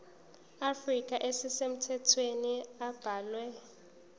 afrika ezisemthethweni abalwe